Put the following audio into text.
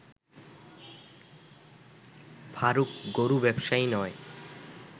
ফারুক গরু ব্যবসায়ী নয়